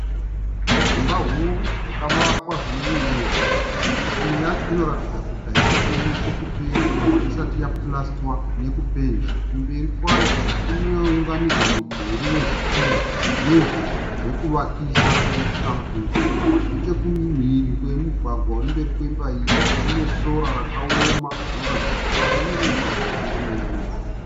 Dzimba huru dzakavakwa zvinoyevedza. Imwe yacho inoratidza kuti haisati yanyatsokupera sezvo isati yapurasitwa nekupenda. Kumberi kwayo kunounganidzwa mudhuri wezvitinha, nevhu rekuvakisa rakaita dutu. Nechekumhiri kwemugwagwa urimberi wemba iyi, kune sora rakaoma rinoratidza kuti rava nenguva rasati ranaiwa nemvura.